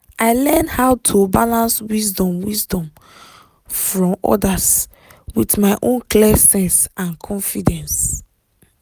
i learn how to balance wisdom wisdom from others with my own clear sense and confidence